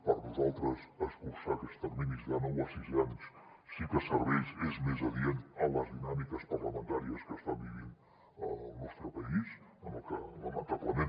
per nosaltres escurçar aquests terminis de nou a sis anys sí que serveix és més adient a les dinàmiques parlamentàries que està vivint el nostre país en el que lamentablement